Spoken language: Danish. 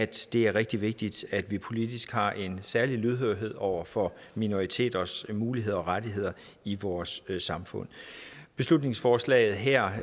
det er rigtig vigtigt at vi politisk har en særlig lydhørhed over for minoriteters muligheder og rettigheder i vores samfund beslutningsforslaget her